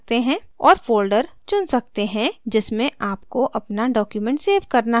और folder चुन सकते हैं जिसमें आपको अपना document सेव करना है